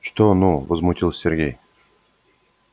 что ну возмутился сергей